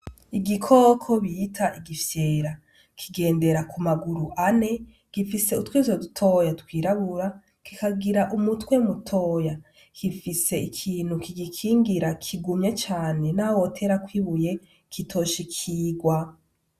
Igikoko bita igifyera. Kigendera ku maguru ane , gifise utwiso dutoyi twirabura, kikagira umutwe mutoyi. Gifise ikintu kigikingira kigumye cane n'aho woterako ibuye kitoshikirwa.